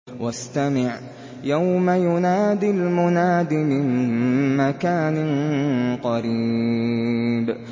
وَاسْتَمِعْ يَوْمَ يُنَادِ الْمُنَادِ مِن مَّكَانٍ قَرِيبٍ